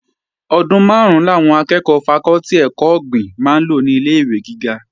Ọdún máàrún làwọn akẹ́ẹ̀kọ́ fakọ́tì ẹ̀kọ́ ọ̀gbìn máa lò ní ilé-ìwé gíga